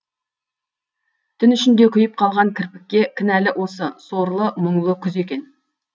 түн ішінде күйіп қалған кірпікке кінәлі осы сорлы мұңлы күз екен